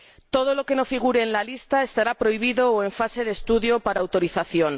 Todo lo que no figure en la lista estará prohibido o en fase de estudio para autorización.